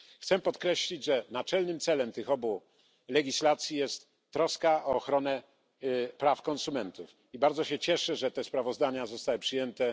Chcę podkreślić, że naczelnym celem tych obu legislacji jest troska o ochronę praw konsumentów, i bardzo się cieszę, że te sprawozdania zostały przyjęte.